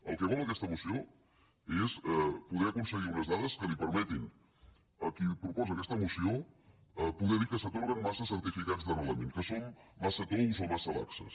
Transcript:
el que vol aquesta moció és poder aconseguir unes dades que li permetin a qui proposa aquesta moció poder dir que s’atorguen massa certificats d’arrelament que som massa tous o massa laxos